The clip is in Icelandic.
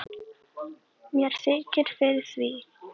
Mér þykir fyrir því.